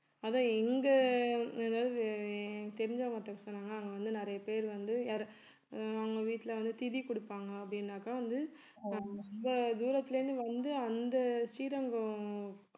அதான் இங்க அதாவது எனக்கு தெரிஞ்சவங்க ஒருத்தர் சொன்னாங்க அங்க வந்து நிறைய பேர் வந்து யாரு அவங்க வீட்டுல வந்து திதி கொடுப்பாங்க அப்படின்னாக்கா வந்து ஆஹ் ரொம்ப தூரத்துல இருந்து வந்து அந்த ஸ்ரீரங்கம்